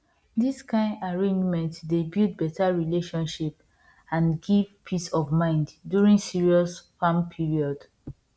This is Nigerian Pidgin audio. this kind arrangement dey build better relationship and give peace of mind during serious farm period